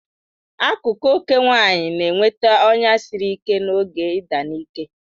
Akụkụ ókè nwanyị na-enweta ọnya siri ike n'oge ịdị a n'ike.